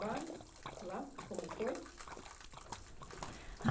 lá? Como foi?